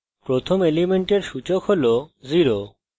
প্রথম element সূচক হল 0